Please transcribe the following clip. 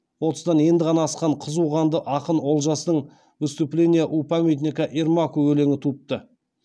отыздан енді ғана асқан қызу қанды ақын олжастың выступление у памятника ермаку өлеңі туыпты